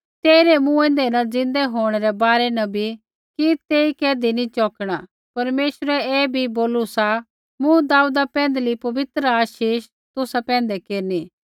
तेइरै मूँऐंदै न ज़िन्दै होंणै रै बारै न बी कि तेई कैधी नी चौकणा परमेश्वरै ऐ बी बोलू सा मूँ दाऊदा पैंधली पवित्र आशीष तुसा पैंधै केरनी